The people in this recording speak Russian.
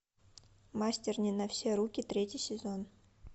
мастер не на все руки третий сезон